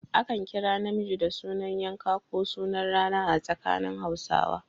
Akan kira mutum da sunan yanka ko sunan rana a tsakanin Hausawa.